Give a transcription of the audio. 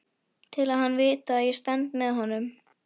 Til að hann viti að ég stend með honum.